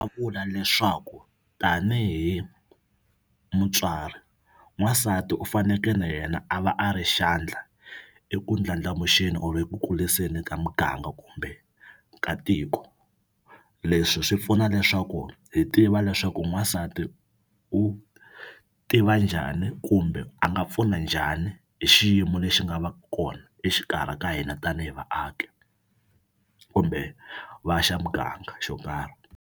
vula leswaku tanihi mutswari n'wansati u faneke na yena a va a ri xandla eku ndlandlamuxeni or eku kuriseni ka muganga kumbe ka tiko leswi swi pfuna leswaku hi tiva leswaku n'wansati u tiva njhani kumbe a nga pfuna njhani hi xiyimo lexi nga va ku kona exikarhi ka hina tanihi vaaki kumbe va xa muganga yo karhi.